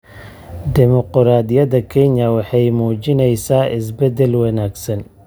Dimuqraadiyadda Kenya waxay muujinaysaa isbeddel wanaagsan.